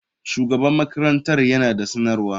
Shugaban makarantar yana da sanarwa.